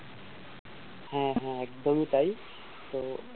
হ্যা হ্যা একদমই তাই তো,